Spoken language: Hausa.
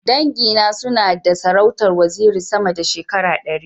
Dangi na suna na da sarautar waziri sama da shekara ɗari.